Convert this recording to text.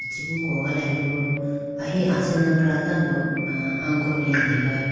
chibu kogalayibo ahi asenapra tando angone degayi bo.